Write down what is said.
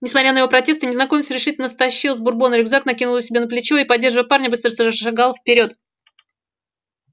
несмотря на его протесты незнакомец решительно стащил с бурбона рюкзак накинул его себе на плечо и поддерживая парня быстро зашагал вперёд